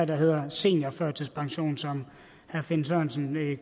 der hedder seniorførtidspension som herre finn sørensen